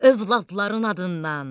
Övladların adından.